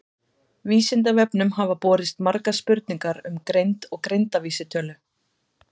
Vísindavefnum hafa borist margar spurningar um greind og greindarvísitölu.